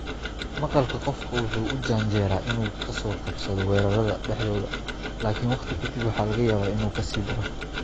Maqalka qofka wuxuu u janjeeraa inuu ka soo kabsado weerarrada dhexdooda laakiin waqti ka dib waxaa laga yaabaa inuu ka sii daro.